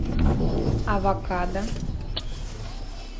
авокадо